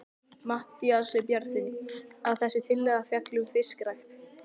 Matthíasi Bjarnasyni, að þessi tillaga fjalli um fiskrækt.